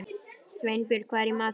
Sveinbjörg, hvað er í matinn?